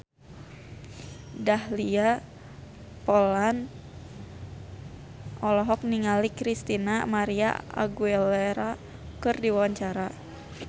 Dahlia Poland olohok ningali Christina María Aguilera keur diwawancara